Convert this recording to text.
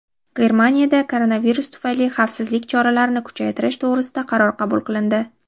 Germaniyada koronavirus tufayli xavfsizlik choralarini kuchaytirish to‘g‘risida qaror qabul qilindi.